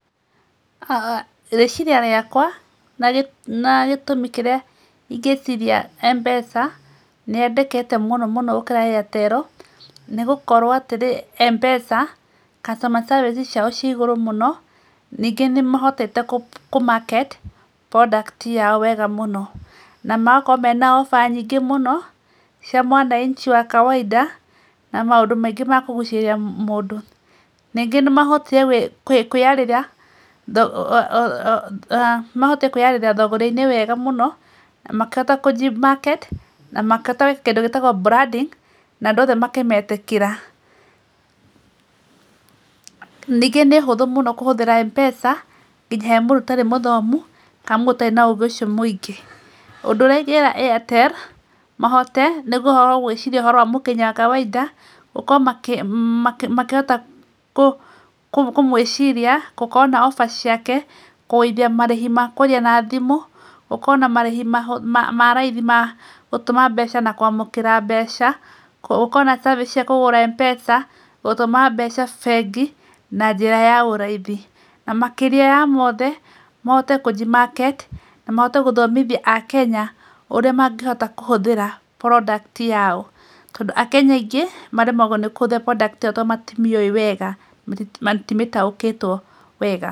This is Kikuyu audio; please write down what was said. Rĩciria ciakwa na gĩtũmi kĩrĩa ingĩciria M-pesa nĩ yendekete mũno mũno gũkĩra Airtel, nĩgũkorwo atĩrĩ, M-pesa, customer service ciao ciĩ igũrũ mũno. Ningĩ nĩmahotete kũ market product yao wega mũno, na magakorwo mena offer nyingĩ mũno, cia mwananchi wa kawainda, na maũndũ maingĩ ma kũgucirĩrĩa mũndũ. Ningĩ nĩmahotire kũĩyarĩra thũgũrĩ-inĩ wega mũno, makĩhota kũji market, na makĩhota gũĩka kĩndũ gĩtagwo branding, na andũ othe makĩmetĩkĩra. Ningĩ nĩũndũ mũhũthũ mũno kũhũthĩra M-pesa, nginya hemũndũ ũtarĩ mũthomu, kana mũndũ ũtarĩ na ũgĩ ũcio mũingĩ. Ũndũ ũrĩa ingĩra Airtel, mahote gũĩciria mũkenya wa kawainda, makorwo makĩhota kũmũĩciria. Gũkorwo na offer ciake, kũgũithia marĩhi ma kwaria na thimũ, gũkorwo na marĩhi ma raithi magũtũma na kwamũkĩra mbeca, gũkorwo na service ciakũgũra M-pesa. Gũtũma mbeca bengi na njĩra ya ũraithi. Na makĩria ya mothe, mahote kũnji market, ũrĩa mangĩhota gũtũmĩra product yao. Akenya aingĩ maremagwo nĩ kũhũthĩra product ĩyo tondũ matimĩũĩ wega, matimĩtaũkĩtwo wega.